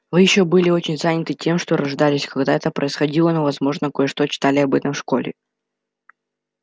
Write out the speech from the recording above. вы ещё были очень заняты тем что рождались когда это происходило но возможно кое-что читали об этом в школе